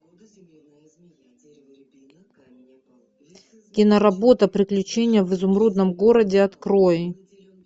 киноработа приключения в изумрудном городе открой